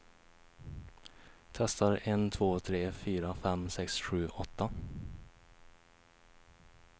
Testar en två tre fyra fem sex sju åtta.